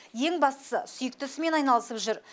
ең бастысы сүйікті ісімен айналысып жүр